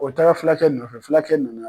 O taara fulakɛ nɔfɛ fulakɛ nana.